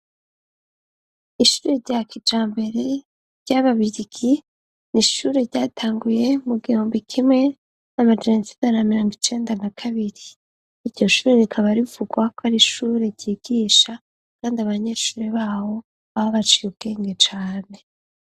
Ishure rya kija mbere ry'ababirigi ni ishure ryatanguye mu giyumbo ikimwe n'amajanosidaaramirango icenda na kabiri iryoshurerekaabarivugwako ari ishure ryigisha, kandi abanyecure bawo abo abaciye ubwenge cane.